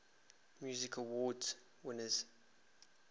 music awards winners